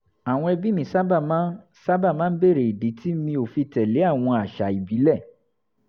àwọn ẹbí mi sábà máa ń máa ń béèrè ìdí tí mi ò fi tẹ̀lé àwọn àṣà ìbílẹ̀